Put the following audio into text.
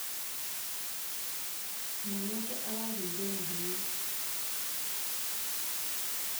mwanake aragũire na hinya